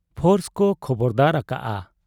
Force ᱠᱚ ᱠᱷᱚᱵᱚᱨᱫᱟᱨ ᱟᱠᱟᱜ ᱟ ᱾